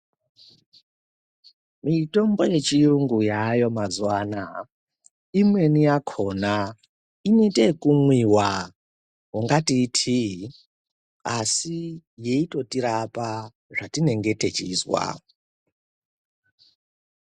Mitombo yechirungu yayo mazuvano awa. Imweni yakhona inetekumwiwa kungati itiyi, asi yeyitotirapa zvatinenge techinzva.